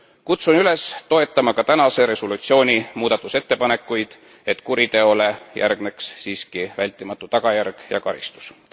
Kutsun üles toetama ka tänase resolutsiooni muudatusettepanekuid, et kuriteole järgneks siiski vältimatu tagajärg ja karistus.